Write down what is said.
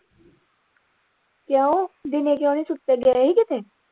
ਕਿਉਂ ਦਿਨੇ ਕਿਉਂ ਨਹੀਂ ਸੁੱਤੇ ਗਏ ਹੀ ਕਿਤੇ।